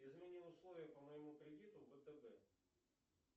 измени условия по моему кредиту втб